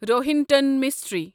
Rohinton mystery